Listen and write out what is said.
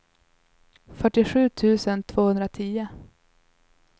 fyrtiosju tusen tvåhundratio